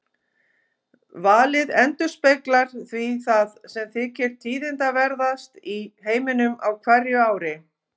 Valið endurspeglar því það sem þykir tíðindaverðast í heiminum á hverju ári.